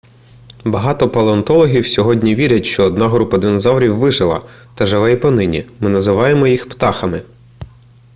багато палеонтологів сьогодні вірять що одна група динозаврів вижила та живе й понині ми називаємо їх птахами